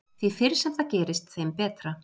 Því fyrr sem það gerist þeim betra.